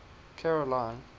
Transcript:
caroline